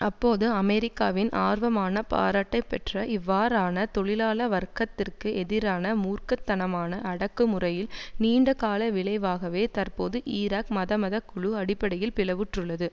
அப்போது அமெரிக்காவின் ஆர்வமான பாராட்டை பெற்ற இவ்வாறான தொழிலாள வர்க்கத்திற்கு எதிரான மூர்க்க தனமான அடக்குமுறையில் நீண்டகால விளைவாகவே தற்போது ஈராக் மதமதக்குழு அடிப்படையில் பிளவுற்றுள்ளது